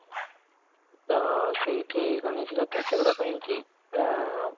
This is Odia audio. ତା ସେଇଠି କଣ ହେଇଛି ନା ତ ସେଗୁଡାକ ପାଇଁ ଆଁ